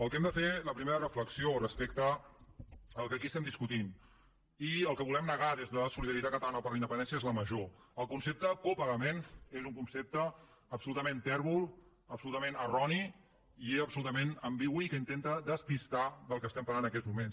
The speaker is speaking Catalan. el que hem de fer la primera reflexió respecte al que aquí estem discutint i el que volem negar des de solidaritat catalana per la independència és la major el concepte copagament és un concepte absolutament tèrbol absolutament erroni i absolutament ambigu i que intenta despistar del que estem parlant en aquests moments